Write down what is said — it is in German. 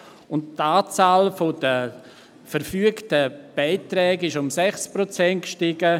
Die Anzahl verfügter Beiträge stieg um 6 Prozent: